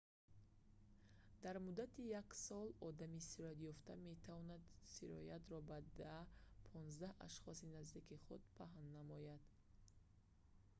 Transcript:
дар муддати як сол одами сироятёфта метавонад сироятро ба 10 то 15 ашхоси наздики худ паҳн намояд